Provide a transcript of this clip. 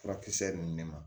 Furakisɛ ninnu ne ma